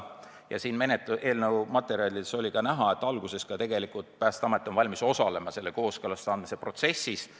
Ja eelnõu materjalidest on ka näha, et alguses on Päästeamet valmis osalema selles kooskõlastamise andmise protsessis.